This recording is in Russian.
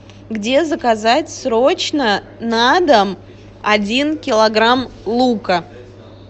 где заказать срочно на дом один килограмм лука